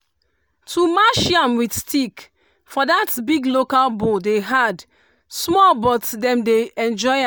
to mash yam with stick for that big local bowl dey hard small but dem dey enjoy